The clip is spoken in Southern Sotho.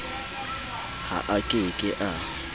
ha a ke ke a